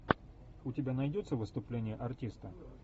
у тебя найдется выступление артиста